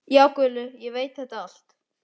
Já, Gulli veit þetta allt.